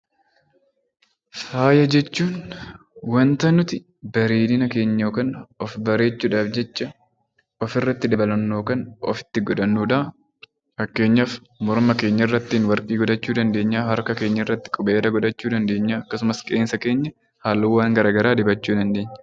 Faaya jechuun wanta nuti bareedina keenya yookiin of bareechuu dhaaf jecha of irratti dabalannu yookaan ofitti godhannu dha. Fakkeenyaaf Morma keenya irratti Warqii godhachuu dandeenyaa, Harka keenya irratti qubeelaa dabalachuu dsndeenyaa akkasumas Qeensa keenya halluuwwan garaa garaa dibachuu dandeenya.